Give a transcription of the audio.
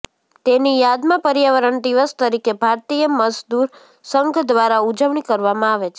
તેની યાદમાં પર્યાવરણ દિવસ તરીકે ભારતીય મઝદુર સંઘ દ્વારા ઉજવણી કરવામાં આવે છે